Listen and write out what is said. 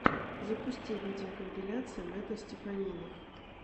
запусти видеокомпиляции мэтта стеффанины